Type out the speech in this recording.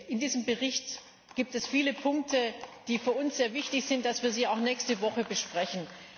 In diesem Bericht gibt es viele Punkte, bei denen es für uns sehr wichtig ist, dass wir sie auch nächste Woche besprechen.